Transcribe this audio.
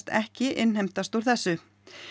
ekki innheimtast úr þessu